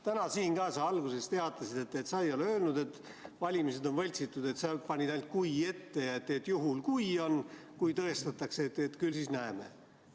Täna sa ka siin alguses teatasid, et sa ei ole öelnud, et valimised on võltsitud, et sa panid "kui" ette ja et "juhul kui on", et kui tõestatakse, et küll siis näeme.